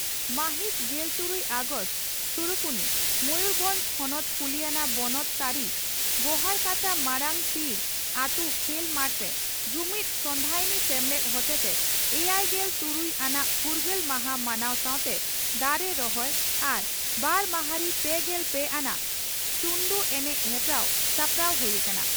ᱢᱟᱹᱦᱤᱛ ᱜᱮᱞ ᱛᱩᱨᱩᱭ ᱟᱜᱚᱥᱴ (ᱥᱩᱨᱩᱠᱩᱱᱤ) ᱺ ᱢᱚᱭᱩᱨᱵᱷᱚᱸᱡᱽ ᱦᱚᱱᱚᱛ ᱠᱩᱞᱤᱭᱟᱱᱟ ᱵᱚᱱᱚᱛ ᱛᱟᱹᱨᱤ ᱜᱚᱦᱟᱲᱠᱟᱴᱟᱼᱢᱟᱨᱟᱝ ᱛᱤᱲᱚ ᱟᱹᱛᱩ ᱠᱷᱮᱞ ᱢᱟᱴᱨᱮ ᱡᱩᱢᱤᱫ ᱥᱚᱸᱫᱷᱟᱭᱱᱤ ᱥᱮᱢᱞᱮᱫ ᱦᱚᱛᱮᱛᱮ ᱮᱭᱟᱭᱜᱮᱞ ᱛᱩᱨᱩᱭ ᱟᱱᱟᱜ ᱯᱷᱨᱜᱟᱹᱞ ᱢᱟᱦᱟ ᱢᱟᱱᱟᱣ ᱥᱟᱣᱛᱮ ᱫᱟᱨᱮ ᱨᱚᱦᱚᱭ ᱟᱨ ᱵᱟᱨ ᱢᱟᱦᱟᱸᱨᱤ ᱯᱮᱜᱮᱞ ᱯᱮ ᱟᱱᱟᱜ ᱪᱩᱱᱰᱩ ᱮᱱᱮᱡ ᱦᱮᱯᱨᱟᱣ ᱥᱟᱯᱲᱟᱣ ᱦᱩᱭ ᱟᱠᱟᱱᱟ ᱾